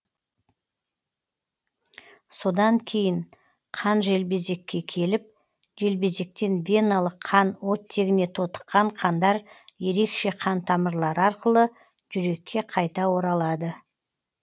содан кейін қан желбезекке келіп желбезектен веналық қан оттегіне тотыққан қандар ерекше қан тамырлары арқылы жүрекке қайта оралады